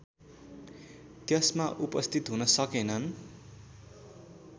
त्यसमा उपस्थित हुन सकेनन्